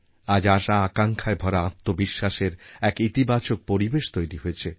আজ আশাআকাঙ্ক্ষায় ভরা আত্মবিশ্বাসের এক ইতিবাচক পরিবেশ তৈরি হয়েছে